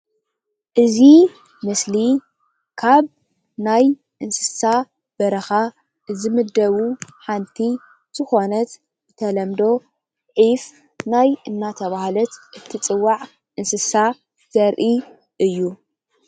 እዚ ምስሊ ካብ ናይ እንስሳ በረኻ ዝምደቡ ሓንቲ ዝኮናት ብተለመዶ ዒፍ ናይ እንዳተባሃለት ትፅዋዕ እንስሳ ዘርኢ እዩ ፡፡